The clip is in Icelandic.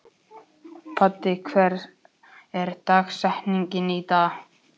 Baddi, hver er dagsetningin í dag?